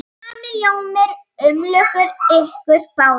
Sami ljóminn umlukti ykkur báðar.